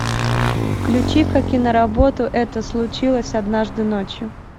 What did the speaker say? включи ка киноработу это случилось однажды ночью